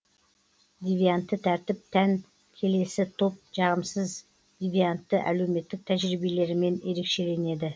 девиантты тәртіп тән келесі топ жағымсыз девиантты әлеуметтік тәжірибелерімен ерекшеленеді